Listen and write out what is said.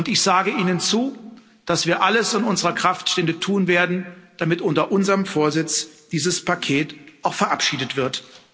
Ich sage Ihnen zu, dass wir alles in unserer Kraft Stehende tun werden, damit unter unserem Vorsitz dieses Paket auch verabschiedet wird.